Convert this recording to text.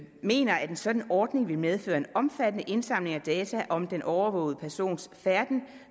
mener en sådan ordning vil medføre en omfattende indsamling af data om den overvågede persons færden